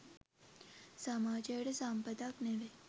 සමාජයට සම්පතක් නෙවෙයි.